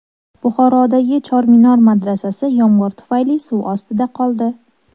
Buxorodagi Chorminor madrasasi yomg‘ir tufayli suv ostida qoldi .